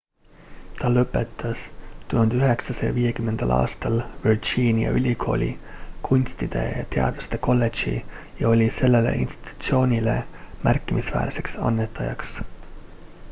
ta lõpetas 1950 aastal virginia ülikooli kunstide ja teaduste kolledži ja oli sellele institutsioonile märkimisväärseks annetajaks